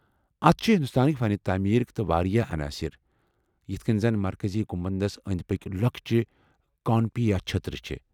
اتھ چھِ ہندوستٲنہِ فن تعمیرکہِ تہ واریاہ عناصر ، یتھ کٔنۍ زَن مرکزی گنٛمبدس انٛدۍ پٔکۍ لۄکٕچہِ کانوپیا چھٔترِ چھےٚ۔